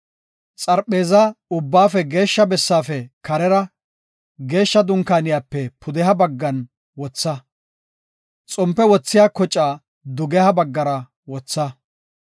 Xarpheezaa, Ubbaafe Geeshsha Bessaafe karera, Geeshsha Dunkaaniyape pudeha baggan wotha; xompe wothiya kocaa dugeha baggara wotha.